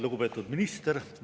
Lugupeetud minister!